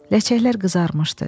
Ləçəklər qızarmışdı.